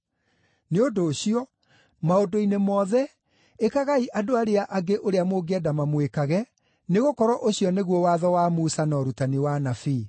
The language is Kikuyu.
Nĩ ũndũ ũcio, maũndũ-inĩ mothe, ĩkagai andũ arĩa angĩ ũrĩa mũngĩenda mamwĩkage, nĩgũkorwo ũcio nĩguo Watho wa Musa na Ũrutani wa Anabii.